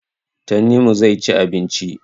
Tanimu zai ci abinci.